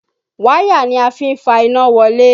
Wáyà ni a fí ń fa iná wọlé